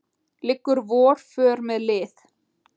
liggur vor för með lið